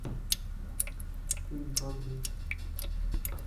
фильм про дрифт